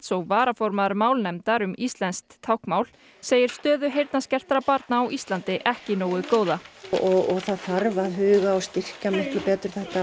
og varaformaður málnefndar um íslenskt táknmál segir stöðu heyrnarskertra barna á Íslandi ekki nógu góða það þarf að huga og styrkja miklu betur þetta